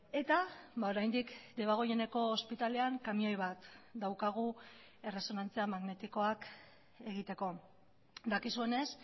eta oraindik debagoieneko ospitalean kamioi bat daukagu erresonantzia magnetikoak egiteko dakizuenez